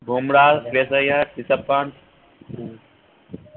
Bumrah Shreyas Iyer Rishabh Pant উম